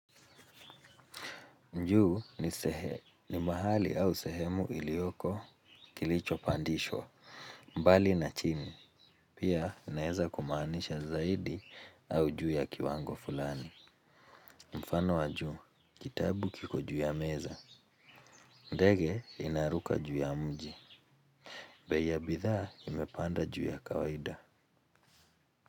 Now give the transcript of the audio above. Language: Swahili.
Juu ni ni mahali au sehemu ilioko kilicho pandishwa mbali na chini pia naweza kumaanisha zaidi au juu ya kiwango fulani. Mfano wa juu kitabu kiko juu ya meza ndege inaruka juu ya mji bei ya bidhaa imepanda juu ya kawaida.